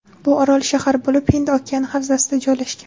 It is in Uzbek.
Bu orol-shahar bo‘lib, Hind okeani havzasida joylashgan.